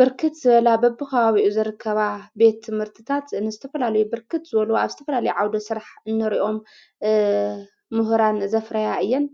ብርክት ዝበላ በቦ ኸዋብኡ ዘርከባ ቤት ትምህርትታት ንስተፈላሉ ብርክት ዘሎ ኣብ ዝተፈላሊይ ዓውዶ ሥራሕ እነርኦም ምህራን ዘፍረያ እየን